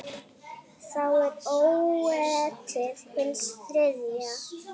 Þá er ógetið hins þriðja.